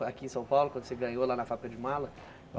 Foi aqui em São Paulo, quando você ganhou lá na fábrica de mala?